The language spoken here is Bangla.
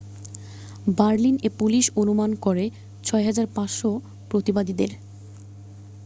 বার্লিন-এ পুলিশ অনুমান করে 6,500 প্রতিবাদীদের